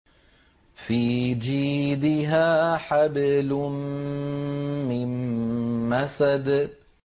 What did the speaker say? فِي جِيدِهَا حَبْلٌ مِّن مَّسَدٍ